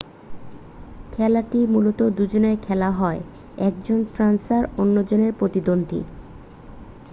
খেলাটি মূলত দুজনে খেলা হয় একজন ফেন্সার অন্যজনের প্রতিদ্বন্দ্বী